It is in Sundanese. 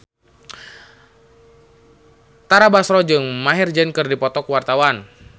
Tara Basro jeung Maher Zein keur dipoto ku wartawan